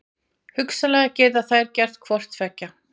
Hugsanlega geta þær gert hvort tveggja.